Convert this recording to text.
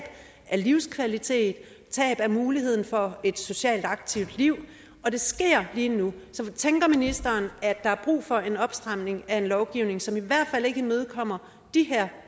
af livskvalitet tab af muligheden for et socialt aktivt liv og det sker lige nu så tænker ministeren at der er brug for en opstramning af en lovgivning som i hvert fald ikke imødekommer de her